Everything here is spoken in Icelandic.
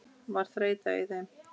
Var þreyta í þeim?